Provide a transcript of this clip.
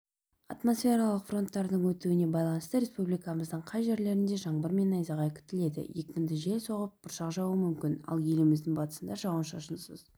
атмосфералық фронттардың өтуіне байланысты республикамыздың кей жерлерінде жаңбыр мен найзағай күтіледі екпінді жел соғып бұршақ жаууы мүмкін ал еліміздің батысында жауын-шашынсыз